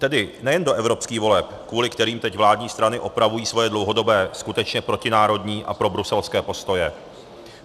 Tedy nejen do evropských voleb, kvůli kterým teď vládní strany opravují svoje dlouhodobé, skutečně protinárodní a probruselské postoje.